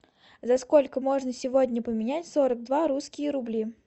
за сколько можно сегодня поменять сорок два русские рубли